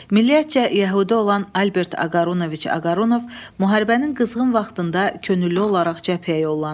Milliyyətcə yəhudi olan Albert Aqarunoviç Aqarunov müharibənin qızğın vaxtında könüllü olaraq cəbhəyə yollanır.